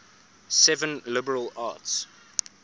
seven liberal arts